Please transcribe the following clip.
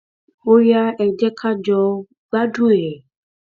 ó yá ẹ jẹ ká jọ gbádùn ẹ